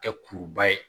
Kɛ kuruba ye